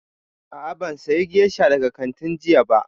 A'a, ban saya gesha daga kantin jiya ba